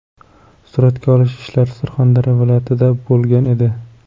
Suratga olish ishlari Surxondaryo viloyatida bo‘lgan edi.